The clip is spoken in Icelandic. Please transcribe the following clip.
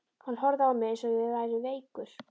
Hann horfði á mig eins og ég væri veikur.